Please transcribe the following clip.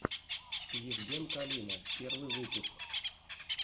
евген калина первый выпуск